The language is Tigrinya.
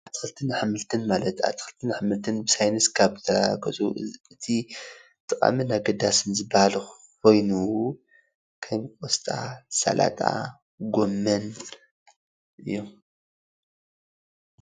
ኣትክልትን ኣሕምልትን ማለት ኣትክልትን ኣሕምልትን ብሳይንስ ካብ ዝተሓገዙ ጠቃሚን ኣገደስን ኮይኑ ከም ቆስጣ፣ ሳላጣ፣ ጎመን እዮም።